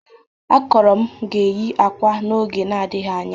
Akọro m ga-eyi akwa n'oge n'adịghị anya.